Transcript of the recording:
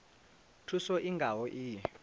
thuso i nga ho iyi